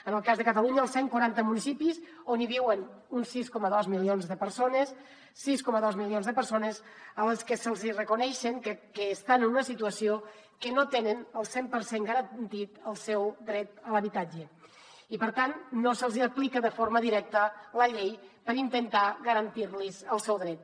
en el cas de catalunya els cent quaranta municipis on viuen uns sis coma dos milions de persones sis coma dos milions de persones a les que es reconeix que estan en una situació que no tenen el cent per cent garantit el seu dret a l’habitatge i per tant no se’ls hi aplica de forma directa la llei per intentar garantir los el seu dret